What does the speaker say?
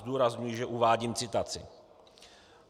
- Zdůrazňuji, že uvádím citaci.